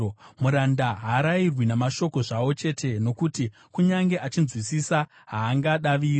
Muranda haarayirwi namashoko zvawo chete, nokuti kunyange achinzwisisa, haangadaviri.